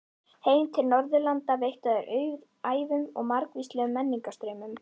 Heim til Norðurlanda veittu þær auðæfum og margvíslegum menningarstraumum.